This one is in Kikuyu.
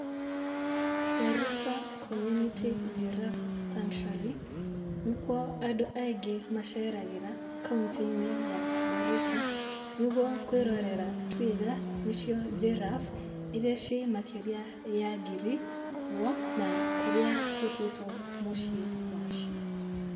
Garissa community giraffe sanctuary nĩkuo andũ aingĩ maceragĩra kauntĩinĩ ya Garissa nĩguo kwĩrorera twiga nĩcio giraffe iria cirĩ makĩria ya ngiri kuo na kũrĩa gũtũĩtwo mũciĩ wacio.